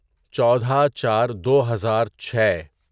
چودہ چار دوہزار چھے